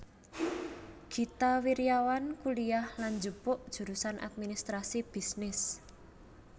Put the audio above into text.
Gita Wirjawan kuliyah lan njupuk jurusan administrasi bisnis